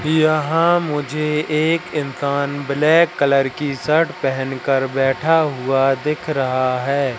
यहां मुझे एक इंसान ब्लैक कलर की शर्ट पहन कर बैठा हुआ दिख रहा है।